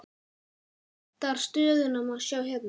Heildar stöðuna má sjá hérna.